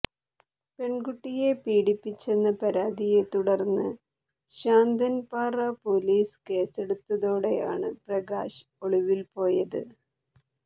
പെണ്കുട്ടിയെ പീഡിപ്പിച്ചെന്ന പരാതിയെ തുടര്ന്ന് ശാന്തന്പാറ പോലീസ് കേസെടുത്തതോടയാണ് പ്രകാശ് ഒളിവില്പോയത്